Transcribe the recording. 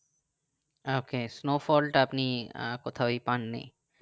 ok snowfalls তা আপনি আহ কোথায়ই পাননি